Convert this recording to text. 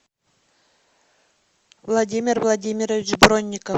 владимир владимирович бронников